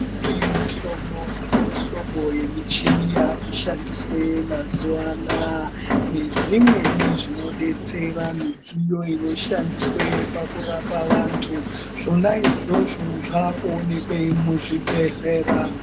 Kune mihlobo nemihlobo yemichini yakushandiswa mazuva anaya. Nezvimweni zvinobetsera mudziyo inoshandiswe pakurapa vantu zvonaizvozvo zvakuonekwe muzvibhedhlera.